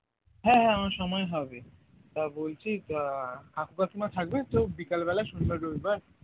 হ্যাঁ হ্যাঁ আমার সময় হবে তা বলছি আহ কাকু কাকিমা থাকবে তো বিকাল বেলা শনিবার রবিবার